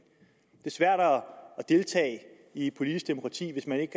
svært at deltage i et politisk demokrati hvis man ikke